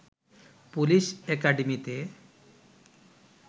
police একাডেমিতে